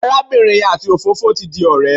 Arábìnrin yẹn àti òfófó ti di ọ̀rẹ́.